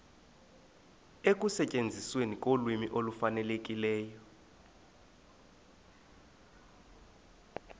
ekusetyenzisweni kolwimi olufanelekileyo